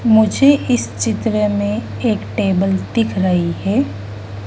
मुझे इस चित्र में एक टेबल दिख रही है।